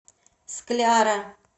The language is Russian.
скляра